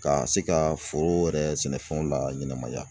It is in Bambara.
Ka se ka foro yɛrɛ sɛnɛfɛnw laɲɛnɛmaya